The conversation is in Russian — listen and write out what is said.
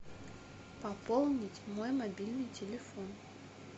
пополнить мой мобильный телефон